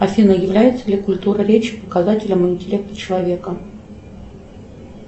афина является ли культура речи показателем интеллекта человека